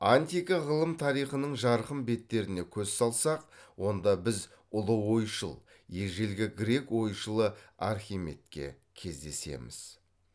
антика ғылым тарихының жарқын беттеріне көз алсақ онда біз ұлы ойшыл ежелгі грек ойшылы архимедке кездесеміз